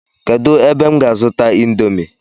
Kedu ebe m ga azuta indomi?